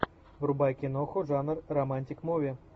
врубай киноху жанр романтик муви